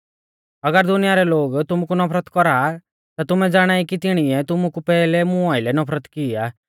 अगर दुनिया रै लोग तुमु कु नफरत कौरा आ ता तुमै ज़ाणाई कि तिणीऐ तुमु कु पैहलै मुं आइलै नफरत की आ